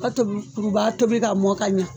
B'a tobi, kurubaga tobi ka ɲɛ